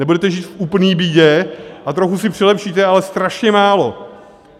Nebudete žít v úplné bídě a trochu si přilepšíte, ale strašně málo.